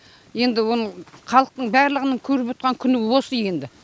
енді оны халықтың барлығының көріп отырған күні осы енді